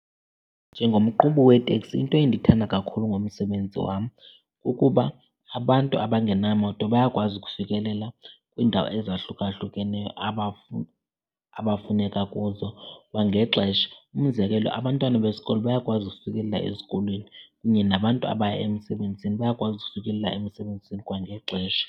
Njengomqhubi weteksi into endiyithanda kakhulu ngomsebenzi wam kukuba abantu abangenamoto bayakwazi ukufikelela kwiindawo ezahlukahlukeneyo abafuneka kuzo kwangexesha. Umzekelo, abantwana besikolo bayakwazi ukufikelela ezikolweni kunye nabantu abaya emisebenzini bayakwazi ukufikelela emisebenzini kwangexesha.